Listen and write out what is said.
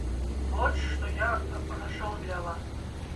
вот что я нашел для вас